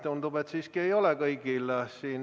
Tundub, et siiski ei ole kõigil.